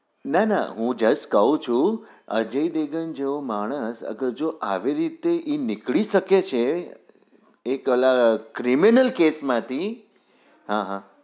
ના ના હું just કહું છુ અજય દેવગન જેવો માણસ અગર જો આવી રીતે નીકળી સકે છે એ પેલા criminal cash માંથી હા હા